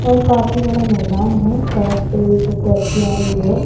यह काफी बड़ा मैदान है सड़क पे एक टैक्सी आ रही है।